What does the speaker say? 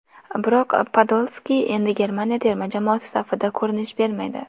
Biroq Podolski endi Germaniya terma jamoasi safida ko‘rinish bermaydi.